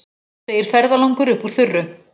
segir ferðalangur upp úr þurru.